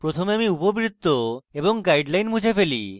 সুতরাং প্রথমে আমি উপবৃত্ত এবং guideline মুছে দেই